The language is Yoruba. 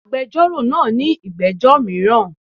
Agbẹjọ́rò náa ní ìgbẹ́jọ́ míràn